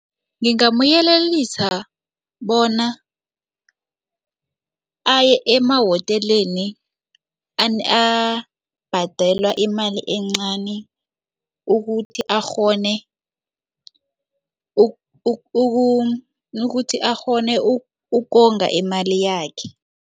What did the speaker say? Ngingamyelelisa bona aye emawoteleni abhadela imali encani ukuthi akghone ukuthi akghone ukonga imali yakhe.